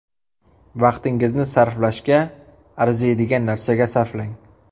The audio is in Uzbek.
Vaqtingizni sarflashga arziydigan narsaga sarflang.